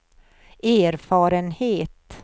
erfarenhet